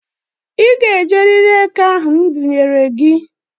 I ga-ejerịrị eke ahụ m dunyere gị!